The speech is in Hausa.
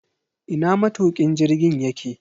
Ina matukin jirgin yake?